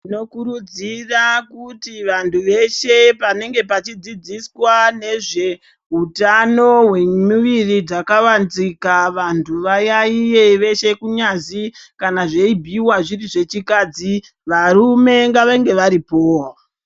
Tinokurudzira kuti vantu veshe panenge pachidzidziswa nezvehutano hwemuviri hwakavanzika. Vantu vayaiye veshe kunyazi kana zveibhuiva zviri zvechikadzi varume ngavange varipovo.